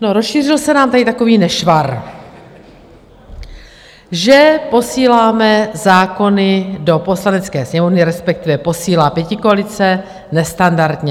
No, rozšířil se nám tady takový nešvar, že posíláme zákony do Poslanecké sněmovny, respektive posílá pětikoalice, nestandardně.